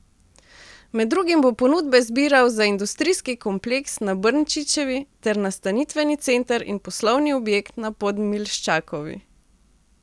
Med drugim bo ponudbe zbiral za industrijski kompleks na Brnčičevi ter nastanitveni center in poslovni objekt na Podmilščakovi.